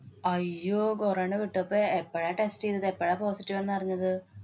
അയ്യോ കൊറോണ പെട്ടോ. പ്പ എപ്പഴാ test ചെയ്തത്. എപ്പഴാ positive ആന്ന് അറിഞ്ഞത്?